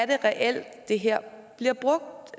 det reelt er det her bliver brugt